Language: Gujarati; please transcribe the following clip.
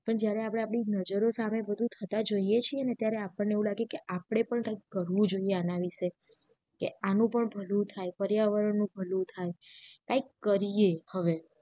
જયારે આપડા નજરો સામે બધું થતા જોઈએ છે ને આપણે પણ કાઈક કરવું જોઈએ આના વિશે આનું પણ ભલું થાય પર્યાવરણ પણ ભલું થાય કાઈક કરીએ હવે